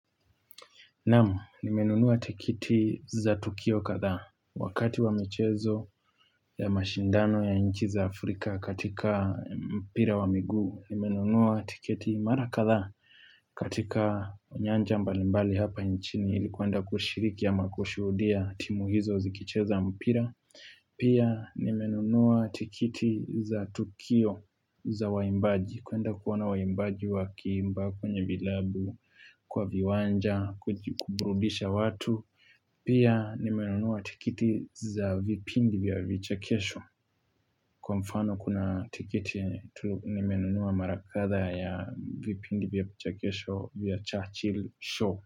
Naam, nimenunua tiketi za Tukio kadhaa, wakati wa michezo ya mashindano ya nchi za Afrika katika mpira wa miguu, nimenunua tiketi mara kadhaa katika nyanja mbalimbali hapa nchini, ilikuenda kushiriki ama kushuhudia timubhizo zikicheza mpira. Pia nimenunua tiketi za Tukio za waimbaji kuenda kuoana waimbaji wa kiimba, kwenye vilabu, kwa viwanja, kuburudisha watu Pia nimenunua tiketi za vipindi vya vichekesho Kwa mfano kuna tiketi nimenunua mara kadhaa ya vipindi vya vichekesho vya Churchill Show.